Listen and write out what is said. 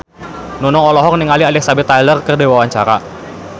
Nunung olohok ningali Elizabeth Taylor keur diwawancara